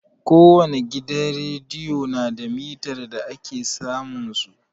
Ko wani gidan rediyo na da mitar da ake samun su.